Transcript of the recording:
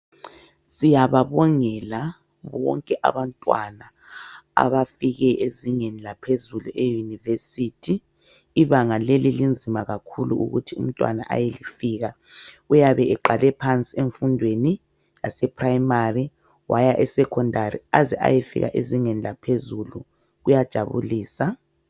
Siyababongela bonke abantwana abafike ezingeni laphezuku eyunivesithi. Ibanga leli linzima kakhulu ukuthi umntwana ayelifika. Uyabe eqale phansi emfundweni yaseprimary waya esecondary aze ayefika ezingeni laphezulu kuyajabulisa.